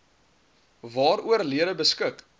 waaroor lede beskik